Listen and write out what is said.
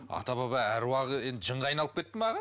ата баба аруағы енді жынға айналып кетті ма аға